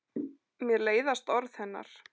Mér leiðast orð hennar.